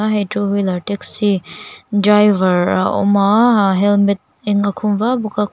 a hei two wheeler taxi driver a awm a a helmet eng a khum va bawk a kawt--